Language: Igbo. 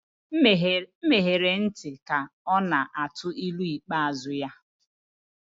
M ghere ntị ka ọ na-atụ ilu ikpeazụ ya